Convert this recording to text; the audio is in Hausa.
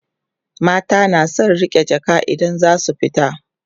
mata na da San riƙe Jaka idan zasu fita